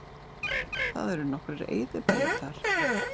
Það eru nokkrir eyðibæir þar